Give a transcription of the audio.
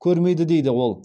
көрмейді дейді ол